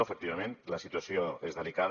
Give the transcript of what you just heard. efectivament la situació és delicada